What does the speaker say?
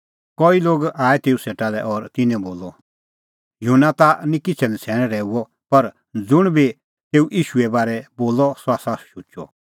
कई लोग आऐ तेऊ सेटा और तिन्नैं बोलअ युहन्ना ता निं किछ़ै नछ़ैण रहैऊअ पर ज़ुंण बी तेऊ ईशूए बारै बोलअ सह त शुचअ